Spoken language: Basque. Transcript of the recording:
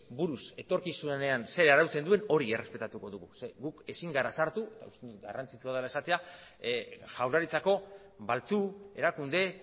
buruz etorkizunean zer arautzen duen hori errespetatuko dugu zeren guk ezin gara sartu uste dut garrantzitsua dela esatea jaurlaritzako baltzu erakunde